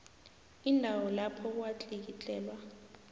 indawo lapho kwatlikitlelwa